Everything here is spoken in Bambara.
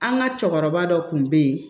An ka cɛkɔrɔba dɔ kun bɛ ye